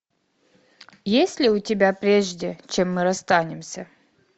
есть ли у тебя прежде чем мы расстанемся